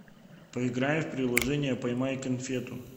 поиграем в приложение поймай конфету